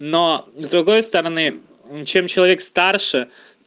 но с другой стороны чем человек старше